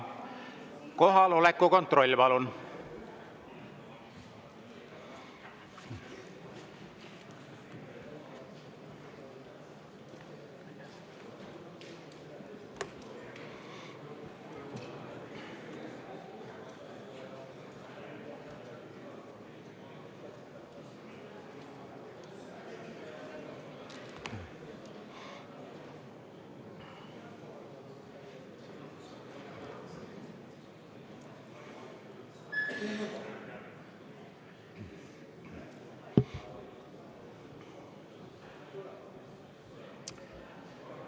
Kohaloleku kontroll, palun!